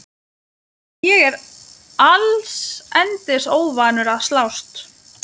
Ég er allsendis óvanur að slást.